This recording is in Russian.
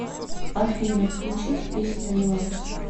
афина включить песню релакс